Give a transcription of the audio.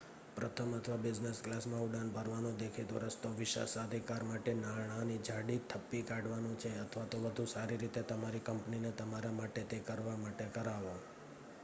પ્રથમ અથવા બિઝનેસ ક્લાસમાં ઉડાન ભરવાનો દેખીતો રસ્તો વિશેષાધિકાર માટે નાણાંની જાડી થપ્પી કાઢવાનો છે અથવા તો વધુ સારી રીતે તમારી કંપનીને તમારા માટે તે કરવા માટે કરાવો